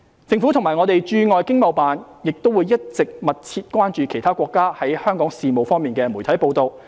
政府及各駐海外經貿辦亦一直密切關注其他國家在香港事務方面的媒體報道。